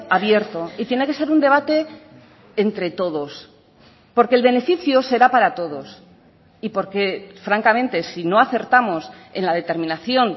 abierto y tiene que ser un debate entre todos porque el beneficio será para todos y porque francamente si no acertamos en la determinación